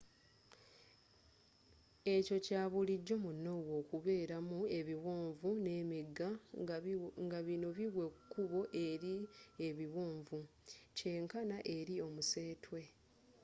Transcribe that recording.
ekyo kya bulijjo mu norway okubeeramu ebiwonvu n'emigga nga bino biwa ekkubo eri ebiwanvu kyenkana eri omusetwe